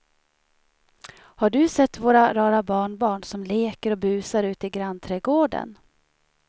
Har du sett våra rara barnbarn som leker och busar ute i grannträdgården!